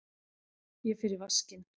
Ég fer í vaskinn.